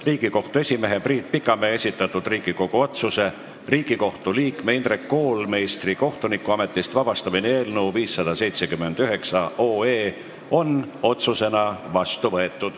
Riigikohtu esimehe Priit Pikamäe esitatud Riigikogu otsuse "Riigikohtu liikme Indrek Koolmeistri kohtunikuametist vabastamine" eelnõu 579 on otsusena vastu võetud.